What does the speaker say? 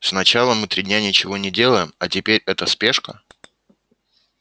сначала мы три дня ничего не делаем а теперь эта спешка